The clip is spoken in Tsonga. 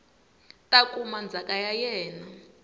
ta kuma ndzhaka ya yena